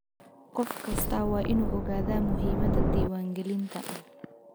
Qof kastaa waa inuu ogaadaa muhiimada diiwangelinta.